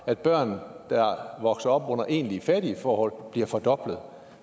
at børn der vokser op under egentlig fattige forhold bliver fordoblet